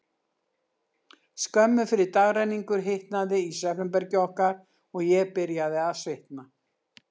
Skömmu fyrir dagrenningu hitnaði í svefnherbergi okkar, og ég byrjaði að svitna.